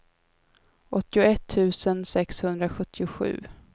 åttioett tusen sexhundrasjuttiosju